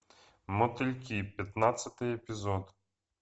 мотыльки пятнадцатый эпизод